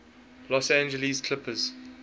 los angeles clippers